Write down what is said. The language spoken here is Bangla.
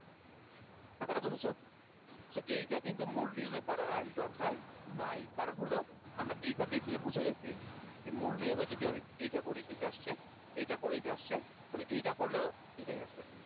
কথাটা বুঝেছ? so এইটা কিন্তু মূল নিয়মে পরার আর দরকার নাই কারন হল আমরা এইটা দেখেই বুঝে গেছি যে মূল নিয়মে যদি আমি এইটা করি এইটা আসছে এইটা করি এইটা আসছে তাহলে এইটা করলেও এটাই আসবে